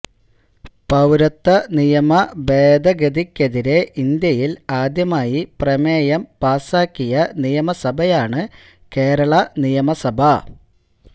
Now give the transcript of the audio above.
പൌരത്വ നിയമ ഭേദഗതിക്കെതിരെ ഇന്ത്യയില് ആദ്യമായി പ്രമേയം പാസാക്കിയ നിയമസഭയാണ് കേരള നിയമസഭ